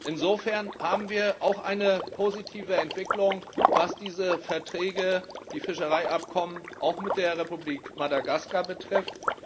Insofern haben wir auch eine positive Entwicklung, was diese Verträge, die Fischereiabkommen auch mit der Republik Madagaskar betrifft.